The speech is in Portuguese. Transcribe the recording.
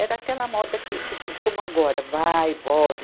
Era aquela moda que, que tu, como agora, vai e volta.